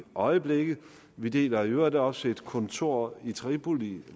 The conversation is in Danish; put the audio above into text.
øjeblikket vi deler i øvrigt også et kontor i tripoli